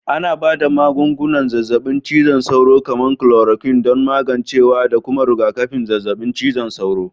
Ana ba da magungunan zazzabin cizon sauro, kamar kulorakwin, don magancewa da kuma rigakafin zazzabin cizon sauro